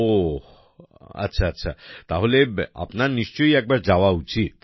ওহ আচ্ছা তাহলে আপনার নিশ্চয় একবার যাওয়া উচিৎ